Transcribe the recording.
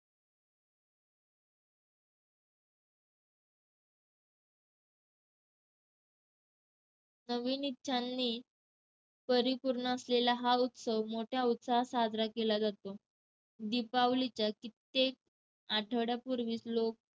नवीन इच्छांनी परिपूर्ण असलेला हा उत्सव मोठ्या उत्साहात साजरा केला जातो. दिपावलीच्या कित्येक आठवड्यापूर्वीच लोक